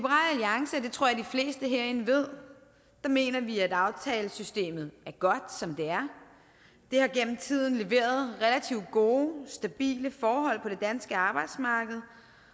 fleste herinde ved mener vi at aftalesystemet er godt som det er det har gennem tiden leveret relativt gode stabile forhold på det danske arbejdsmarked